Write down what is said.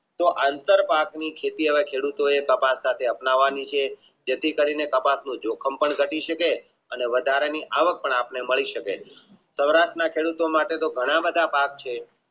તો આંતરપટનીખેતી હવે ખેડૂતો એ તપાસવા અપનાવાની છે જેથી કરીને પદાર્થનું જોખમ પણ ઘટી શકે અને વધારા ની અવાક પણ આપણને મળી શકે પદાર્થના ખેડૂતો માટે તો ઘણા બધા ભાગ છે